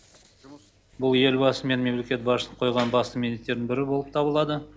бұл елбасы мен мемлекет басшысының қойған басты міндеттердің бірі болып табылады